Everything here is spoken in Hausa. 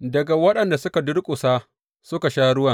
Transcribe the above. daga waɗanda suka durƙusa suka sha ruwan.